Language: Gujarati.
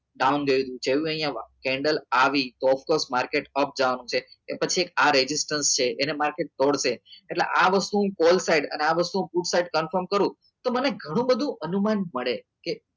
down રહ્યું candle આવી અપ market up જવા નું છે કે પછી આ રેગીસ્તાન છે એને market તોડશે એટલે આ વસ્તુ call side અને આ વસ્તુ food side confirm કરું તો મને ગણું બધું અનુમાન મળે કે